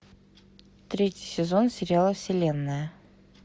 третий сезон сериала вселенная